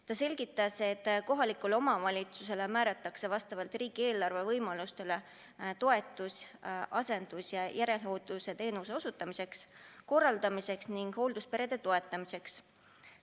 Ta selgitas, et kohalikule omavalitsusele määratakse vastavalt riigieelarve võimalustele toetus asendus- ja järelhooldusteenuse osutamiseks, korraldamiseks ning hooldusperede toetamiseks.